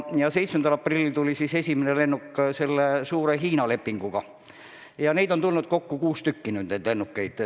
7. aprillil saabus esimene lennuk selle suure Hiina lepingu raames ja nüüdseks on neid lennukeid tulnud kokku kuus tükki.